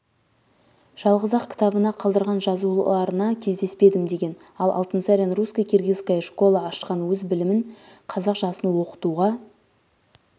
жалғыз-ақ кітабына қалдырған жазуларына кездеспедім деген ал алтынсарин русско-киргизская школа ашқан өз білімін қазақ жасын оқытуға